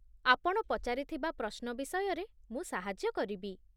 ଆପଣ ପଚାରିଥିବା ପ୍ରଶ୍ନ ବିଷୟରେ ମୁଁ ସାହାଯ୍ୟ କରିବି